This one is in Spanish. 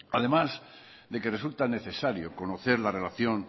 además de que resulta necesario conocer la relación